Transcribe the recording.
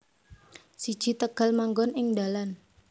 siji Tegal manggon ing dalan